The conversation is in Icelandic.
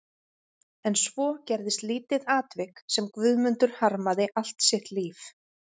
En svo gerðist lítið atvik sem Guðmundur harmaði allt sitt líf.